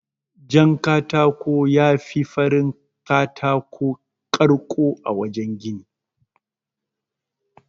Jan katako yafi farin katako ƙarko a wajan gini.